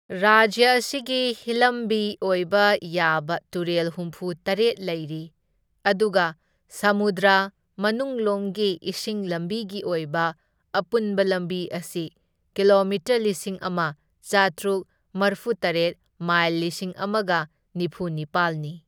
ꯔꯥꯖ꯭ꯌ ꯑꯁꯤꯗ ꯍꯤꯂꯝꯕꯤ ꯑꯣꯏꯕ ꯌꯥꯕ ꯇꯨꯔꯦꯜ ꯍꯨꯝꯐꯨ ꯇꯔꯦꯠ ꯂꯩꯔꯤ, ꯑꯗꯨꯒ ꯁꯃꯨꯗ꯭ꯔ ꯃꯅꯨꯡꯂꯣꯝꯒꯤ ꯏꯁꯤꯡ ꯂꯝꯕꯤꯒꯤ ꯑꯣꯏꯕ ꯑꯄꯨꯟꯕ ꯂꯝꯕꯤ ꯑꯁꯤ ꯀꯤꯂꯣꯃꯤꯇꯔ ꯂꯤꯁꯤꯡ ꯑꯃ ꯆꯥꯇ꯭ꯔꯨꯛ ꯃꯔꯐꯨꯇꯔꯦꯠ ꯃꯥꯏꯜ ꯂꯤꯁꯤꯡ ꯑꯃꯒ ꯅꯤꯐꯨꯅꯤꯄꯥꯜꯅꯤ꯫